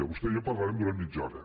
vostè i jo parlarem durant mitja hora